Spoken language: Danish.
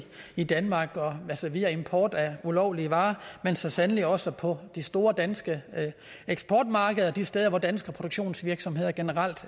i danmark via import af ulovlige varer men så sandelig også på de store danske eksportmarkeder og de steder hvor danske produktionsvirksomheder generelt